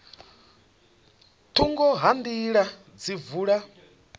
thungo ha nḓila dzi vula